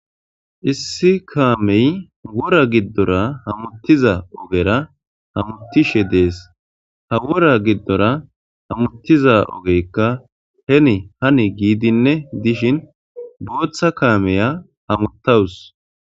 Issi kameyi wora giddora hamuttiza ogera hamuttishshe de'ees.haa wora giddora hamuttizza ogeyikka heni hani giddinne dishdhinn boththa kamiya hamutawuss.